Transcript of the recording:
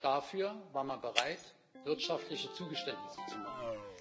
Dafür war man bereit, wirtschaftliche Zugeständnisse zu machen.